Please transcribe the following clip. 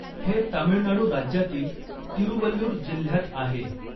हे तामिळनाडू राज्यातील तिरुवल्लूर जिल्ह्यात आहे.